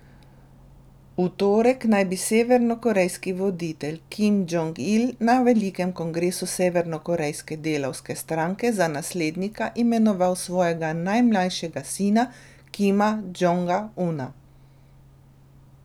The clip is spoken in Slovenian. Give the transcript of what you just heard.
V torek naj bi severnokorejski voditelj Kim Džong Il na velikem kongresu severnokorejske delavske stranke za naslednika imenoval svojega najmlajšega sina Kima Džonga Una.